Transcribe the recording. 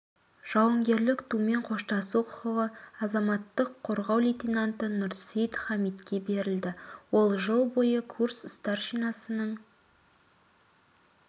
жауынгерлік тумен қоштасу құқығы азаматтық қорғау лейтананты нұрсейт хамитке берілді ол жыл бойы курс старшинасының